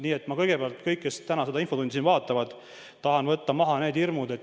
Nii et ma kõigepealt tahan kõigilt, kes täna seda infotundi vaatavad, need hirmud maha võtta.